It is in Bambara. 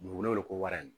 Dugukolo ko wara ye